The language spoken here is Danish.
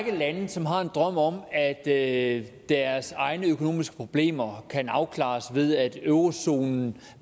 lande som har en drøm om at deres egne økonomiske problemer kan afklares ved at eurozonen